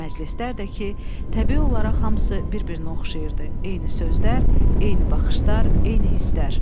Məclislər də ki, təbii olaraq hamısı bir-birinə oxşayırdı, eyni sözlər, eyni baxışlar, eyni hisslər.